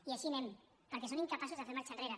i així anem perquè són incapaços de fer marxa enrere